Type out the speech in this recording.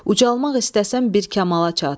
Ucalmaq istəsən bir kamala çat.